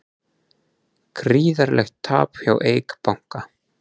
Gríðarlegt tap hjá Eik banka